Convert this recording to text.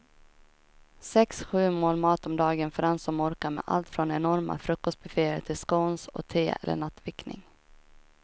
Sex, sju mål mat om dagen för den som orkar med allt från enorma frukostbufféer till scones och te eller nattvickning.